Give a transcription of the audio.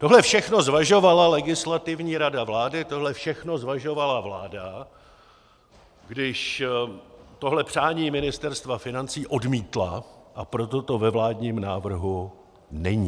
Tohle všechno zvažovala Legislativní rada vlády, tohle všechno zvažovala vláda, když tohle přání Ministerstva financí odmítla, a proto to ve vládním návrhu není.